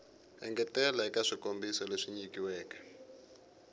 engetela eka swikombiso leswi nyilaweke